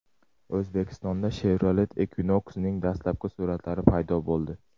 O‘zbekistonda Chevrolet Equinox’ning dastlabki suratlari paydo bo‘ldi .